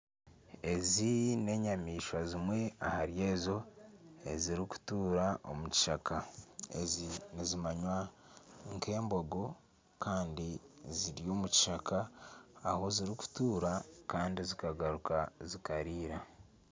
Ezi n'enyamaishwa zimwe ahari ezo eziri kutuura omu kishaka. Ezi nizimanywa nka embogo Kandi ziri omu kishaka ahi ziri kutuura Kandi zikagaruka zikariira.